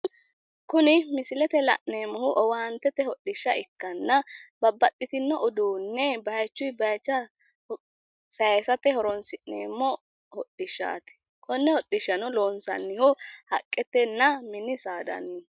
Kuni misilete la'neemmohu owaantete hodhishsha ikkanna babbaxxitino uduunne bayichunni bayicho sayisate horoonsi'neemmo hodhishshaati. Konne hodhishshano loonsannihu haqqetenna mini saadanniiti.